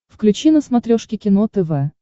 включи на смотрешке кино тв